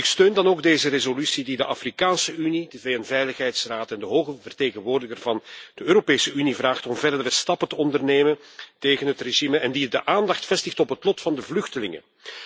Ik steun dan ook deze resolutie die de Afrikaanse Unie, de VN Veiligheidsraad en onze Hoge Vertegenwoordiger van de Europese Unie vraagt verdere stappen te ondernemen tegen het regime en die de aandacht vestigt op het lot van de vluchtelingen.